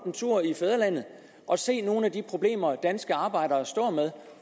en tur i fædrelandet og se nogle af de problemer danske arbejdere står med